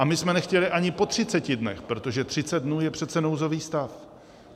A my jsme nechtěli ani po 30 dnech, protože 30 dnů je přece nouzový stav.